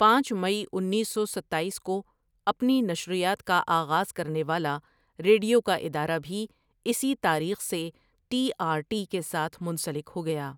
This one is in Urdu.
پانچ مئی انیس سو ستایس کو اپنی نشریات کا آغاز کرنے والا ریڈیو کا ادارہ بھی اسی تاریخ سے ٹی آر ٹی کے ساتھ منسلک ہو گیا ۔